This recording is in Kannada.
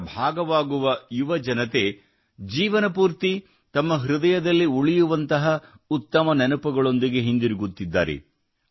ಇದರ ಭಾಗವಾಗುವ ಯುವಜನತೆ ಜೀವನಪೂರ್ತಿ ತಮ್ಮ ಹೃದಯದಲ್ಲಿ ಉಳಿಯುವಂತಹ ಉತ್ತಮ ನೆನಪುಗಳೊಂದಿಗೆ ಹಿಂದಿರುಗುತ್ತಿದ್ದಾರೆ